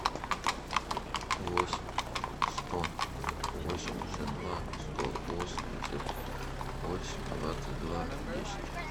восемь сто восемьдесят два сто восемьдесят восемь двадцать два десять